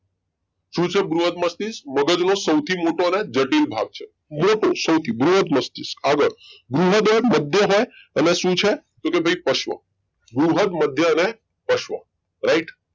શું છે બૃહદ મસ્તિષ્ક મગજ નો સૌથી મોટો અને જટિલ ભાગ છે મોટો સૌથી બૃહદ મસ્તિષ્ક આગળ બૃહદ મધ્ય અને શું છે કે ભાઈ પશ્વ બૃહદ મધ્ય અને પશ્વ right